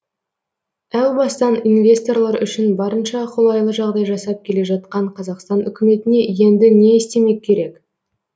әу бастан инвесторлар үшін барынша қолайлы жағдай жасап келе жатқан қазақстан үкіметіне енді не істемек керек